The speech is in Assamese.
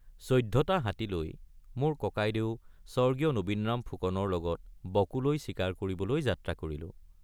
১৪টা হাতী লৈ মোৰ ককাইদেউ স্বৰ্গীয় নবীনৰাম ফুকনৰ লগত বকোলৈ চিকাৰ কৰিবলৈ যাত্ৰা কৰিলোঁ।